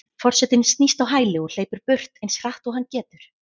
Forsetinn snýst á hæli og hleypur burt eins hratt og hann getur.